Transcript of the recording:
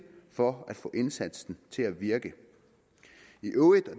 for at få indsatsen til at virke i øvrigt og